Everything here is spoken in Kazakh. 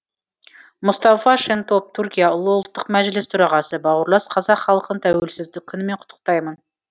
мұстафа шентоп түркия ұлы ұлттық мәжілісі төрағасы бауырлас қазақ халқын тәуелсіздік күнімен құттықтаймын